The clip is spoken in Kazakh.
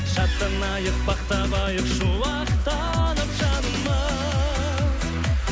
шаттанайық бақ табайық шуақтанып жанымыз